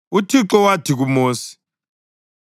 UThixo wathi kuMosi,